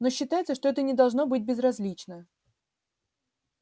но считается что это не должно быть безразлично